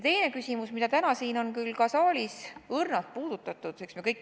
Teist küsimust on täna siin saalis küll ka õrnalt puudutatud .